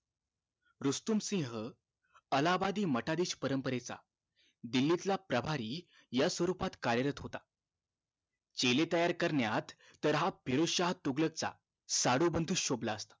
रुस्तुम सिंह अलाहाबादी मटारी परंपरेचा दिल्लीतला प्रभारी या स्वरूपात कार्यरत होता चेले तयार करण्यात तर हा फिरोझ शहा तुंबलक चा साडू बंधू शोभला असता